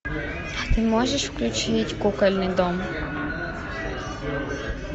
а ты можешь включить кукольный дом